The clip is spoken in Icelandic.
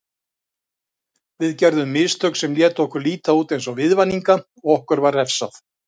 Við gerðum mistök sem létu okkur líta út eins og viðvaninga og okkur var refsað.